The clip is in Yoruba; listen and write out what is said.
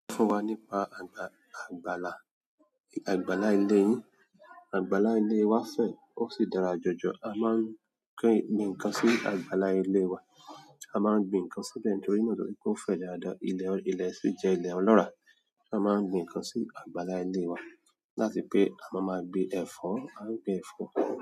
Sọ fún wa nípa àgbà-àgbàlá, àgbàlá ilé yín. Àgbàlá ilé wa fẹ̀ ó sì dára jọjọ. A máa ń gbin ǹkan sí àgbàlá ilé wa. A máa ń gbin ǹkan síbẹ̀ nítorí náà torí pé ó fẹ̀ dáda. Ilẹ̀ sì jẹ́ ilẹ̀ ọlọ́ràá. A máa ń gbin ǹkan sí àgbàlá ilé wa láti pé a máa máa gbin ẹ̀fọ́, a ń gbin ẹ̀fọ́.